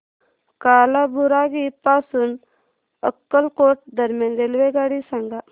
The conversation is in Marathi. कालाबुरागी पासून अक्कलकोट दरम्यान रेल्वेगाडी सांगा